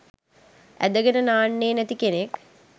ඇදගෙන නාන්නෙ නැති කෙනෙක්.